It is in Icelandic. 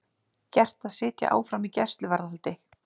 Gert að sitja áfram í gæsluvarðhaldi